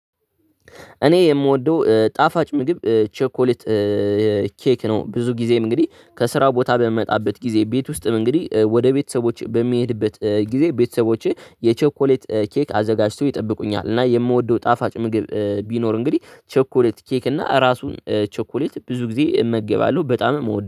እኔ የምወደው ጣፋጭ ምግብ ቸኮሌት ኬክ ነው። ብዙ ጊዜም እንግዲህ ከስራ ቦታ በምመጣበት ጊዜ ቤት ውስጥም እንግዲህ ወደ ቤተሰቦች በሚሄድበት ጊዜ ቤተሰቦችህ የቸኮሌት ኬክ አዘጋጅቶ ይጠብቁኛል። እና የምወደው ጣፋጭ ምግብ ቢኖር እንግዲህ ቸኮሌት ኬክ እና ራሱን ቸኮሌት ብዙ ጊዜ እመገባለሁ በጣም እወደዋለሁ